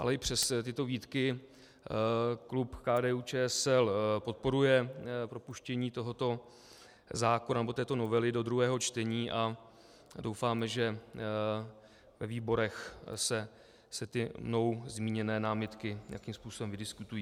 Ale i přes tyto výtky klub KDU-ČSL podporuje propuštění tohoto zákona, nebo této novely do druhého čtení a doufáme, že ve výborech se ty mnou zmíněné námitky nějakým způsobem vydiskutují.